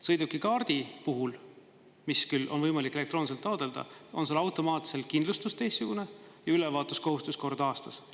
Sõidukikaardi puhul, mida küll on võimalik elektrooniliselt taotleda, on automaatselt kindlustus teistsugune ja ülevaatuse kohustus kord aastas.